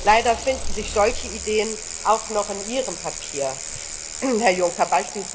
Leider finden sich solche Ideen auch noch in Ihrem Papier, Herr Juncker.